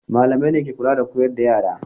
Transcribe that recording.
Malamai ne ke kula da koyar da yara.